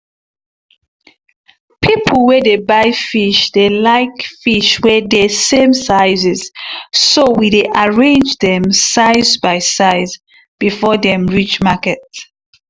people wey dey buy fish dey like fish wey dey same sizes so we dey arrange them size by size before dem reach market